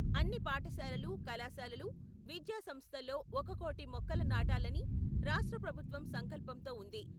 అన్ని పాఠశాలలు, కళాశాలలు, విద్యాసంస్థల్లో ఒక కోటి మొక్కలు నాటాలని రాష్ట్ర ప్రభుత్వం సంకల్పంతో ఉంది.